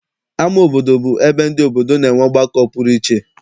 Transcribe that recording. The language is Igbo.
Ama obodo bụ ebe ndị obodo na-enwe ọgbakọ pụrụ iche.